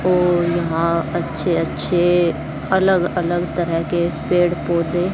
औ यहां अच्छे अच्छे अलग अलग तरह के पेड़ पौधे--